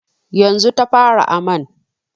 Yanzu ta fara aman.